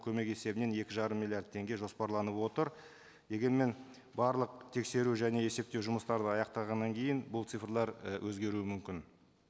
көмек есебінен екі жарым миллиард теңге жоспарланып отыр дегенмен барлық тексеру және есептеу жұмыстарды аяқтағаннан кейін бұл цифрлар і өзгеруі мүмкін